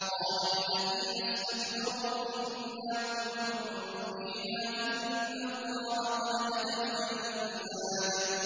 قَالَ الَّذِينَ اسْتَكْبَرُوا إِنَّا كُلٌّ فِيهَا إِنَّ اللَّهَ قَدْ حَكَمَ بَيْنَ الْعِبَادِ